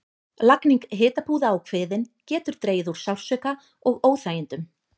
Lagning hitapúða á kviðinn getur dregið úr sársauka og óþægindum.